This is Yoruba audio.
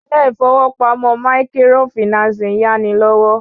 Ilé ìfowópamọ́ maikirofìnáǹsì ń yáni lówó